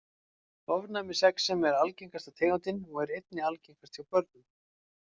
Ofnæmisexem er algengasta tegundin og er einnig algengast hjá börnum.